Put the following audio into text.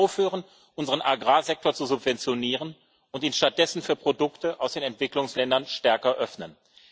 Wir müssen aufhören, unseren Agrarsektor zu subventionieren, und ihn stattdessen für Produkte aus den Entwicklungsländern stärker öffnen.